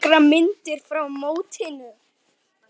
Nokkrar myndir frá mótinu.